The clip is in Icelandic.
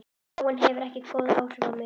Áin hefur ekki góð áhrif á mig.